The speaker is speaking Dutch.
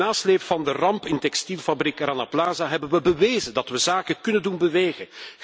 In de nasleep van de ramp in textielfabriek Rana Plaza hebben we bewezen dat we zaken kunnen doen bewegen.